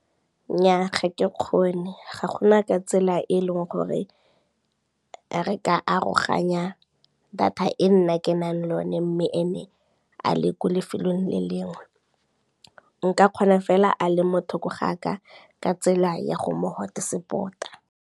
Nnyaa ga ke kgone, ga gona ka tsela e e leng gore re ka aroganya data e nna ke nang le one mme ene a le ko lefelong le lengwe, nka kgona fela a le mo thoko ga ka, ka tsela ya go mo hotspot-a.